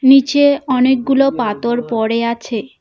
নীচে অনেকগুলো পাতর পড়ে আছে।